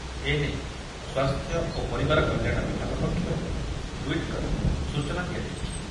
ଏନେଇ ସ୍ୱାସ୍ଥ୍ୟ ଓ ପରିବାର କଲ୍ୟାଣ ବିଭାଗ ପକ୍ଷରୁ ଟୁଇଟ୍ କରି ସୂଚନା ଦିଆଯାଇଛି।